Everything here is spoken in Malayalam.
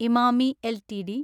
ഇമാമി എൽടിഡി